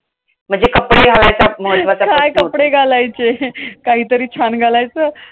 म्हणजे कपडे घालायचा महत्वाचा प्रश्न होतो. काय कपडे घालायचे? काहीतरी छान घालायचं